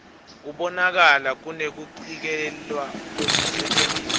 kubonakala kunekucikelelwa kwekusetjentiswa